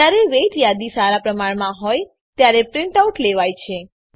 જયારે વેઇટ યાદી સારા પ્રમાણમાં હોય ત્યારે પ્રીંટ આઉટ લેવાય છે